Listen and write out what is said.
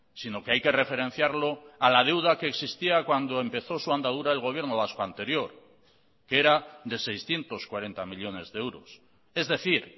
sino que hay que referenciarlo a la deuda que existía cuando empezó su andadura el gobierno vasco anterior que era de seiscientos cuarenta millónes de euros es decir